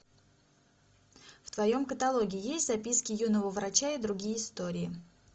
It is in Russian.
в твоем каталоге есть записки юного врача и другие истории